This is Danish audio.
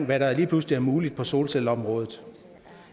hvad der lige pludselig er muligt på solcelleområdet